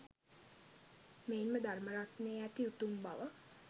මෙයින්ම ධර්ම රත්නයේ ඇති උතුම් බව